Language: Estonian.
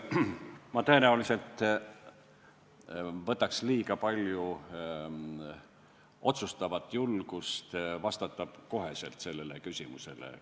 Ma tõenäoliselt võtaks liiga palju otsustavat julgust, kui vastaksin sellele küsimusele kohe.